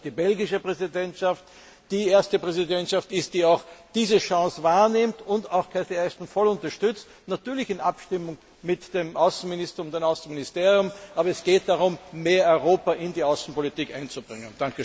Ich hoffe, dass die belgische Präsidentschaft die erste Präsidentschaft ist, die diese Chance wahrnimmt und Cathy Ashton voll unterstützt, natürlich in Abstimmung mit dem Außenminister und dem Außenministerium, aber es geht darum, mehr Europa in die Außenpolitik einzubringen.